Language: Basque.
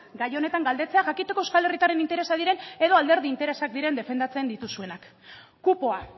gai honetan galdetzea jakiteko euskal herritarren interesak diren edo alderdi interesak diren defendatzen dituzuenak kupoa